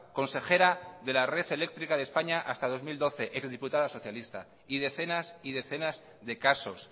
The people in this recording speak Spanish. consejera de la red eléctrica de españa hasta dos mil doce eurodiputada socialista y decenas y decenas de casos